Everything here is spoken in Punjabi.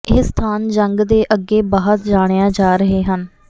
ਇਹ ਸਥਾਨ ਜੰਗ ਦੇ ਅੱਗੇ ਬਾਅਦ ਜਾਣਿਆ ਰਹੇ ਹਨ